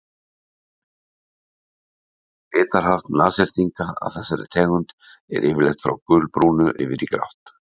litarhaft nashyrninga af þessari tegund er yfirleitt frá gulbrúnu yfir í grátt